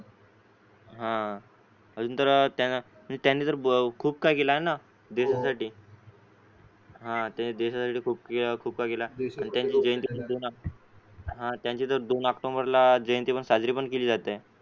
अजून तर त्यांनी खूप काही केलं ना देशासाठी हा त्यांनी देशासाठी खूप काही केलं त्यांची तर दोन ऑक्टोबरला जयंती पण साजरी केली जाते.